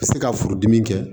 Ka se ka furudimi kɛ